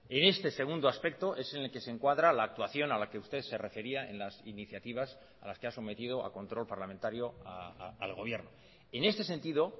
en este segundo aspecto es en el que se encuadra la actuación a la que usted se refería en las iniciativas a las que ha sometido a control parlamentario al gobierno en este sentido